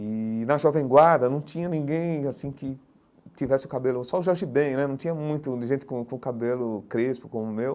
E na Jovem Guarda não tinha ninguém assim que tivesse o cabelo, só o Jorge Ben né, não tinha muita gente com o com o cabelo crespo como o meu.